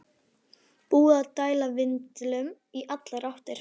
Búinn að dæla vindlum í allar áttir!